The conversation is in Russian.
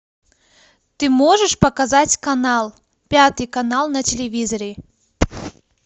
ты можешь показать канал пятый канал на телевизоре